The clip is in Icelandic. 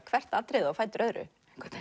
hvert atriðið á fætur öðru